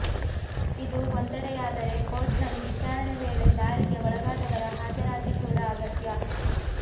ಇದು ಒಂದೆಡೆಯಾದರೆ ಕೋರ್ಟ್ನಲ್ಲಿ ವಿಚಾರಣೆ ವೇಳೆ ದಾಳಿಗೆ ಒಳಗಾದವರ ಹಾಜರಾತಿ ಕೂಡ ಅಗತ್ಯ